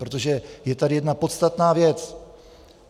Protože je tady jedna podstatná věc.